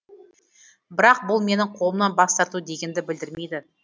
бірақ бұл менің қолымнан бас тарту дегенді білдірмейді